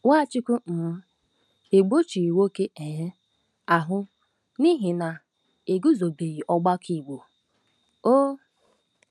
Nwachukwu um egbochighị nwoke um ahụ n'ihi na e guzobebeghị ọgbakọ Igbo um.